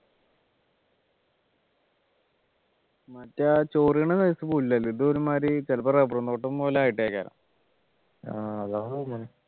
മറ്റേ ആ ചൊറിയും size പുല്ലല്ല ഇതൊരുമാതിരി ചിലപ്പോ റബ്ബറു തോട്ടം പോലെ ആയിട്ടായിരിക്കും